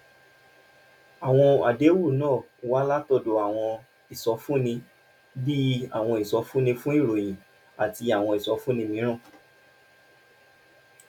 àwọn àdéhùn náà wá látọ̀dọ̀ àwọn ìsọfúnni bíi àwọn ìsọfúnni fún ìròyìn àti àwọn ìsọfúnni mìíràn